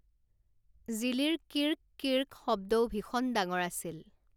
জিলীৰ কিৰ্ক কিৰ্ক শব্দও ভীষণ ডাঙৰ আছিল।